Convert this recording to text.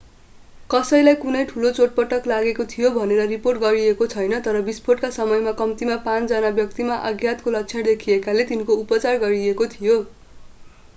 कसैलाई कुनै ठूलो चोटपटक लागेको भनेर रिपोर्ट गरिएको छैन तर विस्फोटका समयमा कम्तीमा पाँच जना व्यक्तिमा आघातको लक्षण देखिएकाले तिनको उपचार गरिएको थियो